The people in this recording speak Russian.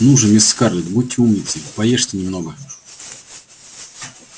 ну же мисс скарлетт будьте умницей поешьте немножко